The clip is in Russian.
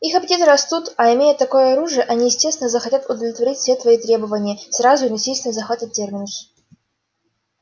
их аппетиты растут а имея такое оружие они естественно захотят удовлетворить все свои требования сразу и насильственно захватят терминус